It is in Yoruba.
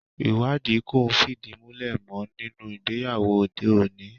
Ìwádìí kò fìdí múlẹ̀ mọ́ nínú ìgbéyàwó òde òní